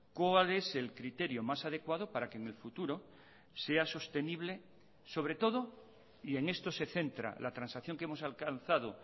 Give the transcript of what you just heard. cuál es el criterio más adecuado para que en el futuro sea sostenible sobre todo y en esto se centra la transacción que hemos alcanzado